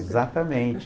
Exatamente.